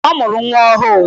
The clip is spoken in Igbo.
Ee, ọ mụrụ nwa ọhụụ.